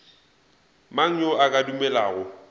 mang yo a ka dumelago